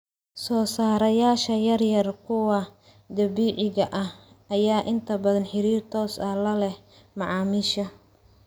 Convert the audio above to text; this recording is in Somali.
Soosaarayaasha yaryar, kuwa dabiiciga ah ayaa inta badan xiriir toos ah la leh macaamiisha.